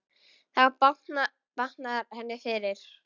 Þá batnar henni fyrr.